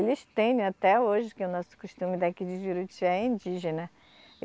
Eles têm até hoje que o nosso costume daqui de Juruti é indígena.